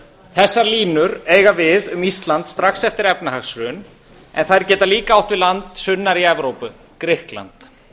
þessar línur eiga við um ísland strax eftir efnahagshrun en þær geta líka átt við land sunnar í evrópu grikkland